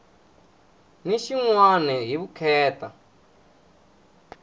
na xin wana hi vukheta